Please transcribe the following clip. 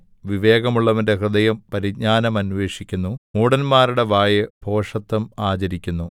വിവേകമുള്ളവന്റെ ഹൃദയം പരിജ്ഞാനം അന്വേഷിക്കുന്നു മൂഢന്മാരുടെ വായ് ഭോഷത്തം ആചരിക്കുന്നു